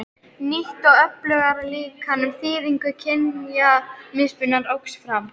Nýtt og öflugra líkan um þýðingu kynjamismunar óx fram.